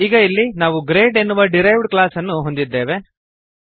ಈಗ ಇಲ್ಲಿ ನಾವು ಗ್ರೇಡ್ ಎನ್ನುವ ಡಿರೈವ್ಡ್ ಕ್ಲಾಸ್ ಅನ್ನು ಹೊಂದಿದ್ದೇವೆ